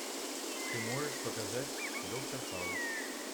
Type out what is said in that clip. ты можешь показать доктор хаус